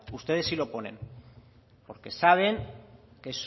ustedes sí lo ponen porque saben que